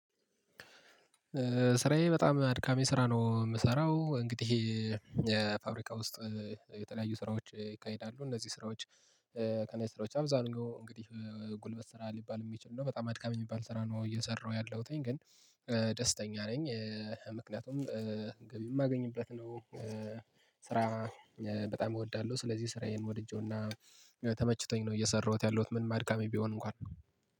ስራዬ በጣም አድካሚ ስራ ነው የምሰራው። እንግዲህ የፋብሪካ ውስጥ የተለያዩ ስራዎች ይካሄዳሉ። እነዚህ ስራዎች ከነዚህ ስራዎች አብዛኛው እንግዲህ ጉልበት ስራ ሊባል የሚችል ነው። በጣም አድካሚ የሚባል ስራ ነው እየሰራሁ ያለሁትኝ። ግን ደስተኛ ነኝ። ምክንያቱም ገቢ የማገኝበት ነው። ስራ በጣም እወዳለሁ። ስለዚህ ስራዬን ወድጄውና ተመችቶኝ ነው እየሰራሁት ያለሁት ምንም አድካሚ ቢሆን እንኳን።